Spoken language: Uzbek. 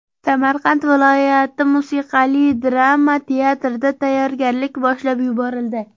Samarqand viloyati musiqali drama teatrida tayyorgarlik boshlab yuborildi.